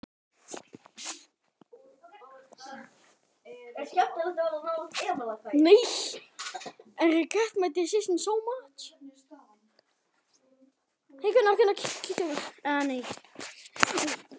Tvær flugur í einu höggi.